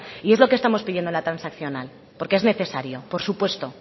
y es lo que estamos pidiendo en la transaccional porque es necesario por supuesto